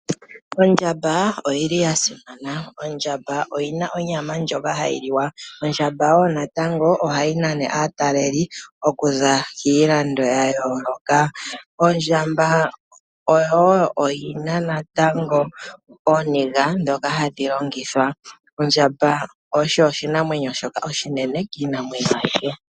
Ondja mba oya simana. Ondjamba oyi na onyama ndjoka hayi liwa, ohayi nana aatalelipo okuza kiilando ya yooloka. Ondjamba oyi na ooniga ndhoka hadhi longithwa. Ondjamba osho oshinamwenyo shoka oshinene kiinamwenyo ayihe.